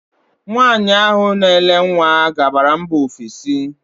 Nwaanyị ahụ na ele nwa gabara mba ofesi.